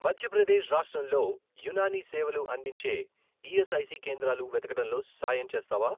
మధ్య ప్రదేశ్ రాష్ట్రంలో యునానీ సేవలు అందించే ఈఎస్ఐసి కేంద్రాలు వెతకడంలో సాయం చేస్తావా?